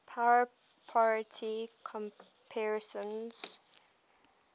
power parity comparisons